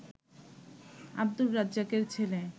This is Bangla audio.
আব্দুর রাজ্জাকের ছেলে